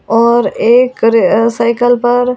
और एकर अ साइकिल पर --